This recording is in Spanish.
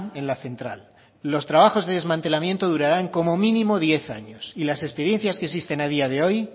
en la central los trabajos de desmantelamiento durarán como mínimo diez años y las experiencias que existen a día de hoy